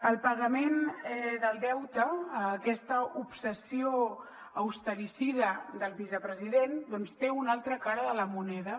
el pagament del deute aquesta obsessió austericida del vicepresident doncs té una altra cara de la moneda